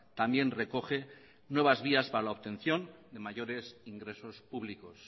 también recoge nuevas vías para la obtención de mayores ingresos públicos